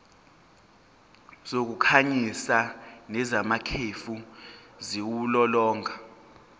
zokukhanyisa nezamakhefu ziwulolonga